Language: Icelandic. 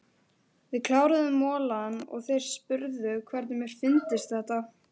Við kláruðum molann og þeir spurðu hvernig mér fyndist þetta.